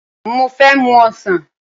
Mo fẹ́ mu ọsàn